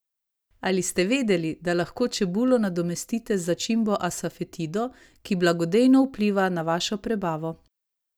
Ali ste vedeli, da lahko čebulo nadomestite z začimbo asafetido, ki blagodejno vpliva na vašo prebavo?